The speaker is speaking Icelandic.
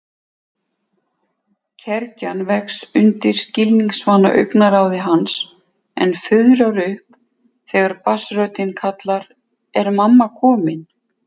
Kergjan vex undir skilningsvana augnaráði hans en fuðrar upp þegar barnsrödd kallar: Er mamma komin?